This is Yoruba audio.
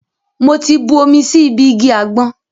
Mo ti bu omi sí ibi igi àgbọn.